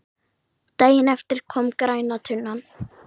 Daginn eftir kom græna tunnan.